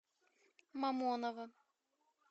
мамоново